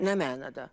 Nə mənada?